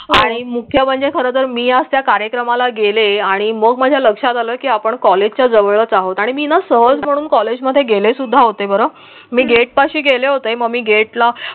आणि मुख्य म्हणजे खरं तर मी असं त्या कार्यक्रमाला गेले आणि मग माझ्या लक्षात आलं की आपण कॉलेजच्या जवळचा होता आणि मीना सहज म्हणून कॉलेजमध्ये गेले सुद्धा होते. बरं हम्म मी गेटपाशी गेले हो होते मग मी गेटला